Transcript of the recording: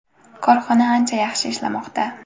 Korxona ancha yaxshi ishlamoqda.